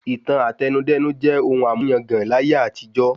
ìtàn Àtẹnudẹ́nu jẹ́ ohun àmúyangàn láyé àtijọ́